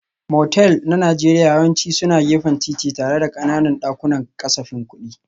Motel na Najeriya yawanci suna gefen titi tare da ƙananan dakunan kasafin kuɗi.